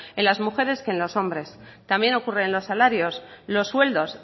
en las mujeres que en los hombres también ocurre en los salarios los sueldos